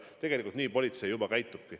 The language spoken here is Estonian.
Tegelikult nii politsei juba käitubki.